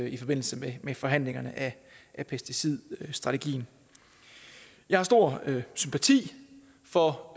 i forbindelse med med forhandlingerne af pesticidstrategien jeg har stor sympati for